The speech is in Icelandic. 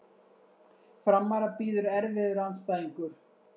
Framara bíður erfiður andstæðingur